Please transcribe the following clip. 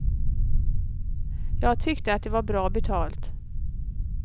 Jag tyckte att det var bra betalt.